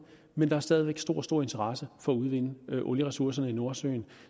men der er stadig væk stor stor interesse for at udvinde olieressourcerne i nordsøen